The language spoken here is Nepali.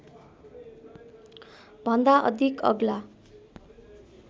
भन्दा अधिक अग्ला